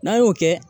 N'a y'o kɛ